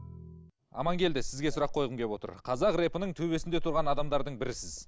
амангелді сізге сұрақ қойғым келіп отыр қазақ репінің төбесінде тұрған адамдардың бірісіз